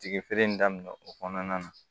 Tigi feere in daminɛ o kɔnɔna na